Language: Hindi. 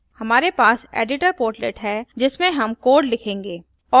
हमारे पास editor portlet है जिसमें हम code लिखेंगे